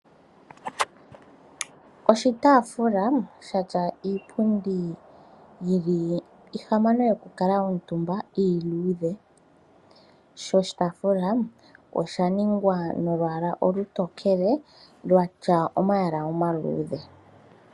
Oshitaafula sha tya iipundi yi li iihamano yoku kala omutumba iiluudhe. Sho oshitaafula osha ningwa nolwaala olutokele lwatya omayala omaluudhe.